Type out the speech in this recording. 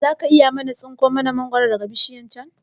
Zaka iya tsinka mana mangoro daga bishiyar can